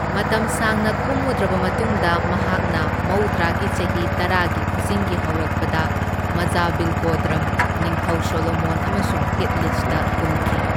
ꯃꯇꯝ ꯁꯥꯡꯅ ꯀꯨꯝꯃꯨꯗ꯭ꯔꯕ ꯃꯇꯨꯡꯗ ꯃꯍꯥꯛꯅ ꯃꯧꯗ꯭ꯔꯥꯒꯤ ꯆꯍꯤ ꯇꯔꯥꯒꯤ ꯈꯨꯖꯤꯡꯒꯤ ꯍꯧꯔꯛꯄꯗ ꯃꯓꯥꯚꯤꯜꯀꯣꯗꯔꯝ, ꯅꯤꯡꯊꯧ ꯁꯣꯂꯣꯃꯣꯟ ꯑꯃꯁꯨꯡ ꯍꯤꯠꯂꯤꯁꯇ ꯀꯨꯝꯈꯤ꯫